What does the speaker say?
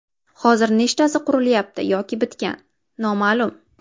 Hozir nechtasi qurilyapti yoki bitgan, noma’lum.